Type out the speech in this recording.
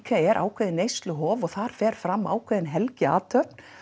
er ákveðið neysluhof og þar fer fram ákveðin helgiathöfn